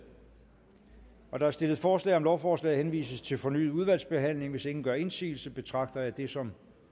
der er stillet forslag om at lovforslaget henvises til fornyet udvalgsbehandling hvis ingen gør indsigelse betragter jeg det som